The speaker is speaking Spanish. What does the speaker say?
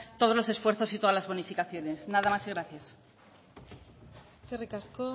todos los esfuerzos y todas las bonificaciones nada más y gracias eskerrik asko